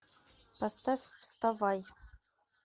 поставь вставай